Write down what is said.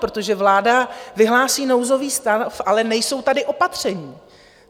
Protože vláda vyhlásí nouzový stav, ale nejsou tady opatření.